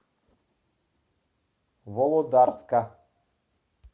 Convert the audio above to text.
володарска